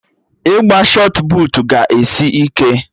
Ịgba shọt puutu ga-esi ike